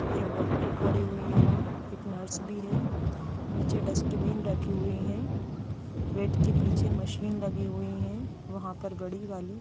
एक डॉक्टर खड़ी हुई है वहाँ एक नर्स भी है न्यू डस्टबिन रखी हुए है बेड के पीछे मशीन लगी हुए है वहाँ पर बड़ी वाली।